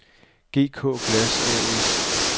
GK Glas A/S